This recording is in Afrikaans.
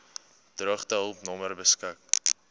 droogtehulp nommer beskik